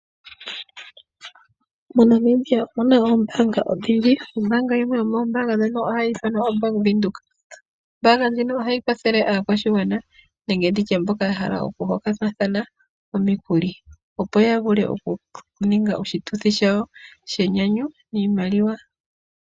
Monamibia omuna oombanga odhindji. Ombaanga yimwe yomoombanga dhono ohayi ithanwa ombaanga yaVenduka. Ombaanga ndjino ohayi kwathele aakwanezimo nenge mboka yahala ku hokana omikuli opo yavule okuninga oshituthi shawo niimaliwa.